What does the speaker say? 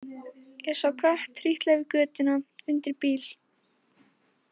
Ég sá kött trítla yfir götuna undir bíl.